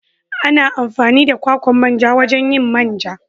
Ana amfani da kwakwan manja wajen yin man ja.